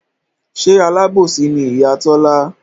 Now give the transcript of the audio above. Ṣe Alábòsí ni Ìyá Tọ́lá?